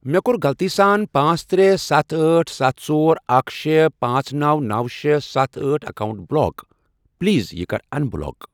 مےٚ کوٚر غلطی سان پانژھ، ترے، ستھَ، أٹھ، ستھَ، ژۄر، اکھَ، شے، پانژھ، نوَ، نوَ، شے، ستھَ، أٹھ، اکاونٹ بلاک پلیز یہِ کَر اَن بلاک۔